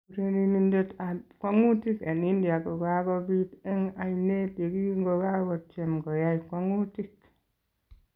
Urerenindet ab kwang'utik en India kokabeet en ayneet yekingokakotyem koyai kwang'utik